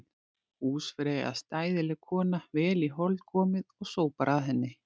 Húsfreyja er stæðileg kona, vel í hold komið og sópar að henni.